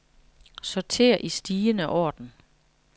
Sorter i stigende orden.